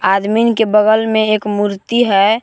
आदमीन के बगल में एक मूर्ति है।